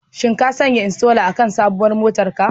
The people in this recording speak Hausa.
Shin ka sanya inshora akan sabuwar motar ka?